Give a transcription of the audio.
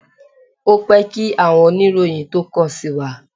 Ó pẹ́ kí àwọn oníròyìn tó kàn sí wa.